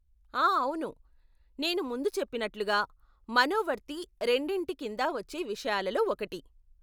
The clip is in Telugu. ఆ అవును, నేను ముందు చెప్పినట్లుగా, మనోవర్తి రెండింటి కిందా వచ్చే విషయాలో ఒకటి.